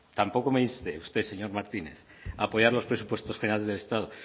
tampoco me inste usted señor martínez a apoyar los presupuestos generales del estado